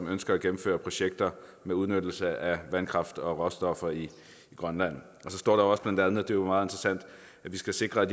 ønsker at gennemføre projekter med udnyttelse af vandkraft og råstoffer i grønland der står blandt andet det er meget interessant at vi skal sikre